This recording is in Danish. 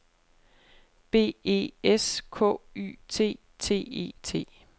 B E S K Y T T E T